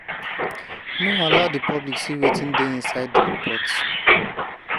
no allow di public see wetin dey inside di report.